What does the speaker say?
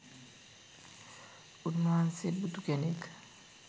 උන්වහන්සේ බුදු කෙනෙක්